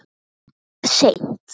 Frekar seint.